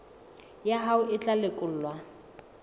ya hao e tla lekolwa